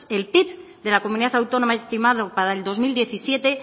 el pib de la comunidad autónoma estimado para el dos mil diecisiete